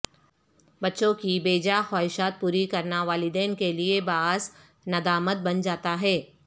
بچوں کی بے جا خواہشات پوری کرنا والدین کیلئے باعث ندامت بن جاتاہے